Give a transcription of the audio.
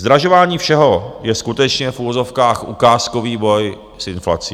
Zdražování všeho je skutečně v uvozovkách ukázkový boj s inflací.